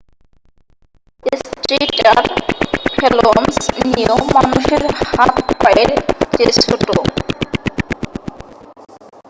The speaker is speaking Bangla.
স্ট্রেইটার ফ্যালঞ্জস নিয়েও মানুষের হাত পায়ের চেয়ে ছোট